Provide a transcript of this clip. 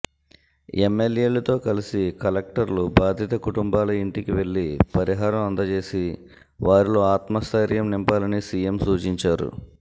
ఎమ్మెల్యేలతో కలిసి కలెక్టర్లు బాధిత కుటుంబాల ఇంటికి వెళ్లి పరిహారం అందజేసి వారిలో ఆత్మస్థైర్యం నింపాలని సిఎం సూచించారు